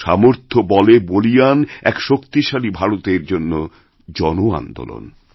সামর্থ্য বলে বলীয়ান এক শক্তিশালীভারতের জন্য জন আন্দোলন